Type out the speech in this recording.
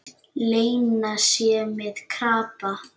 Lena sé með krabba.